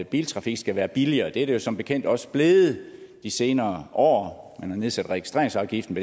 biltrafik skal være billigere og det er den jo som bekendt også blevet de senere år man har nedsat registreringsafgiften